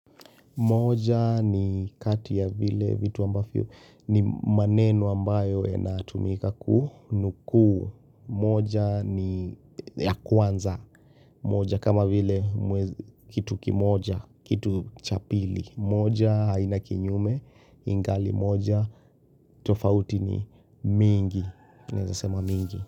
Moja ni kati ya vile vitu ambafio ni maneno ambayo ena tumika kunuku moja ni ya kwanza moja kama vile kitu kimoja kitu chapili moja inakinyume ingali moja tofauti ni mingi nezasema mingi.